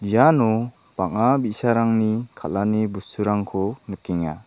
iano bang·a bi·sarangni kal·ani bosturangko nikenga.